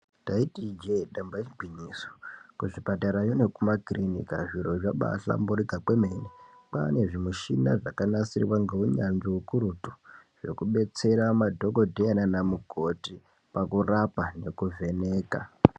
Taiti ijee damba igwinyiso, kuzvipatarayo nekumakirinika zviro zvabaahlamburika kwemene. Kwaane zvimishina zvakanasirwa ngeunyanzvi hukurutu zvekubetsera madhokodheya nanamukoti pakurapa nekuvheneka.